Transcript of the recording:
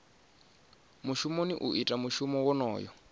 mushumoni u ita mushumo wonoyo